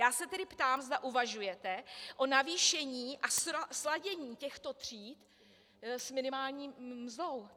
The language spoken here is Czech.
Já se tedy ptám, zda uvažujete o navýšení a sladění těchto tříd s minimální mzdou.